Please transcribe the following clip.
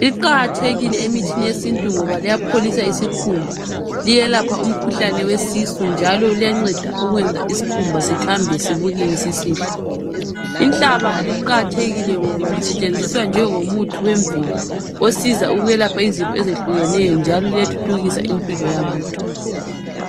liqakathekile emithini yesintu ngoba liyapholisa isikhumba liyelapha umkhuhlane wesisu njalo liyanceda ukwenza isikhumba sithambe sibukeke sisihle inhlaba liqakathekile ngoba lisetshenziswa njengo muthi wemvelo osiza ukwelapha izifo ezehlukeneyo njalo liyathuthukisa impilo yabantu.